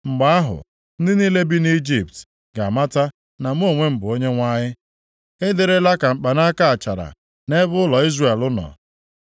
Mgbe ahụ, ndị niile bi nʼIjipt ga-amata na mụ onwe m bụ Onyenwe anyị. “ ‘Ị dịrịla ka mkpanaka achara nʼebe ụlọ Izrel nọ.